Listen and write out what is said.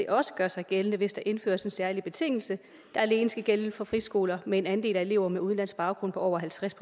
også gør sig gældende hvis der indføres en særlig betingelse der alene skal gælde for friskoler med en andel af elever med udenlandsk baggrund på over halvtreds